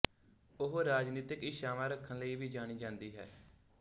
ਉਹ ਰਾਜਨੀਤਿਕ ਇੱਛਾਵਾਂ ਰੱਖਣ ਲਈ ਵੀ ਜਾਣੀ ਜਾਂਦੀ ਹੈ